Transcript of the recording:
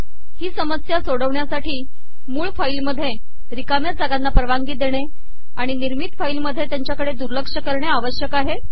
ही समसया सोडवणयासाठी मूळ फाईल मधे िरकामया जागाना परवानगी देणे आिण िनिमरत फाईलमधे तयाचया कडे दुलरक करणे आवशयक आहे